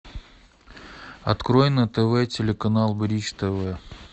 открой на тв телеканал бридж тв